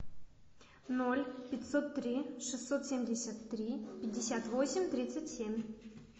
ноль пятьсот три шестьсот семьдесят три пятьдесят восемь тридцать семь